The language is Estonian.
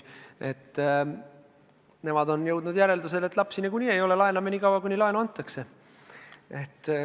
Nemad on jõudnud järeldusele, et lapsi niikuinii ei ole, laename seni, kuni laenu antakse.